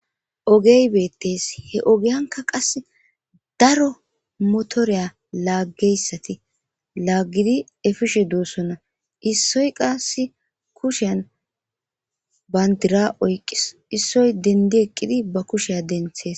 Ogey beettes. He ogiyanka qasse daro motoriya laaggeyssati laaggidi efishe doossona issoy qassi kushiyan banddira oyqqis issoy denddi eqqidi ba kushiya denthees.